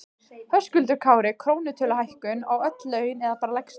Höskuldur Kári: Krónutöluhækkun á öll laun eða bara lægstu?